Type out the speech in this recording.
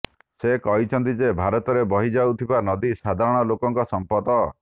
ସେ କହିଛନ୍ତି ଯେ ଭାରତରେ ବହି ଯାଉଥିବା ନଦୀ ସାଧାରଣ ଲୋକଙ୍କ ସମ୍ପଦ